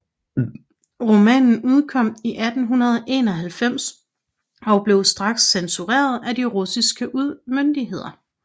Romanen udkom i 1891 og blev straks censureret af de russiske myndigheder